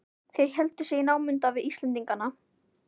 Þeir héldu sig í námunda við Íslendingana.